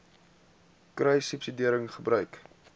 kruissubsidiëringgebruik